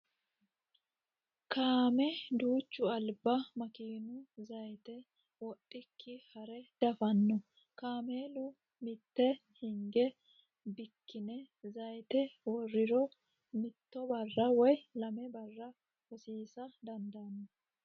Kaame duuchu alba makiinu zayiite wodhikki hare dafanno. Kaamelu mitte hinge bikkine zayiite worriro mitto barra woyi lame barra hosiisa dandaanno.